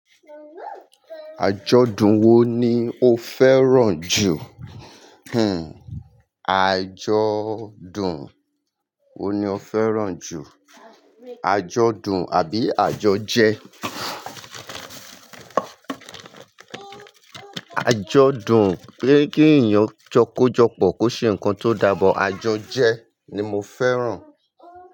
Àjọ̀dún wo ni o fẹ́ràn jù? Hmm, àjọ̀dún wo ni o fẹ́ràn jù? Àjọ̀dún àbí àjọjẹ? Àjọdún pé kí ènìyàn jọkójọpọ̀ kó ṣe ǹkan tó dà. Àjọjẹ ni mo fẹ́ràn.